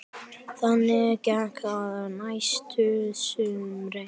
Þannig gekk það næstu sumrin.